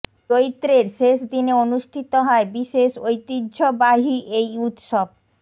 চৈত্রের শেষ দিনে অনুষ্ঠিত হয় বিশেষ ঐতিহ্যবাহী এই উৎসব